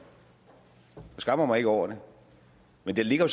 skammer mig ikke over det men der ligger